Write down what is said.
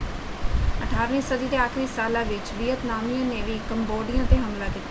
18 ਵੀਂ ਸਦੀ ਦੇ ਆਖਰੀ ਸਾਲਾਂ ਵਿੱਚ ਵੀਅਤਨਾਮੀਆਂ ਨੇ ਵੀ ਕੰਬੋਡੀਆ ‘ਤੇ ਹਮਲਾ ਕੀਤਾ।